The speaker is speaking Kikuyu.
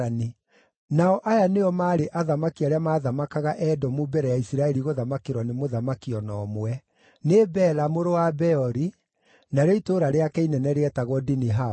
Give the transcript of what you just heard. Nao aya nĩo maarĩ athamaki arĩa maathamakaga Edomu mbere ya Isiraeli gũthamakĩrwo nĩ mũthamaki o na ũmwe: Nĩ Bela mũrũ wa Beori, narĩo itũũra rĩake inene rĩetagwo Dinihaba.